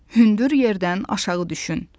Hündür yerdən aşağı düşün.